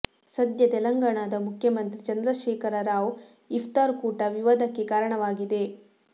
ಸದ್ಯ ತೆಲಂಗಾಣದ ಮುಖ್ಯಮಂತ್ರಿ ಚಂದ್ರಶೇಖರ ರಾವ್ ಇಫ್ತಾರ್ ಕೂಟ ವಿವಾದಕ್ಕೆ ಕಾರಣವಾಗಿದೆ